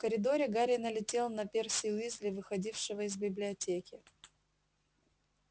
в коридоре гарри налетел на перси уизли выходившего из библиотеки